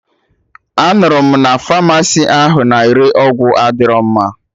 Anụrụ m na pharmacy ahụ na-ere ọgwụ adịrọ mma